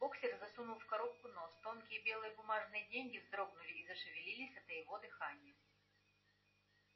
боксёр засунул в коробку нос тонкие белые бумажные деньги вздрогнули и зашевелились от его дыхания